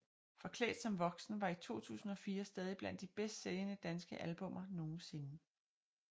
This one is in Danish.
Forklædt som voksen var i 2004 stadig blandt de bedst sælgende danske albummer nogensinde